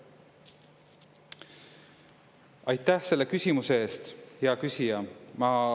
Aitäh selle küsimuse eest, hea küsija!